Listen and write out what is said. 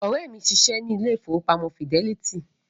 Ọ̀rẹ́ mi ń ṣiṣẹ́ ní ilé ìfowópamọ́ fidẹ́lítì